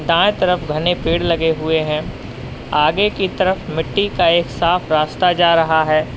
दाएं तरफ घने पेड़ लगे हुए हैं आगे की तरफ मिट्टी का एक साफ रास्ता जा रहा है।